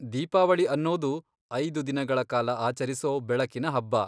ದೀಪಾವಳಿ ಅನ್ನೋದು ಐದು ದಿನಗಳ ಕಾಲ ಆಚರಿಸೋ ಬೆಳಕಿನ ಹಬ್ಬ.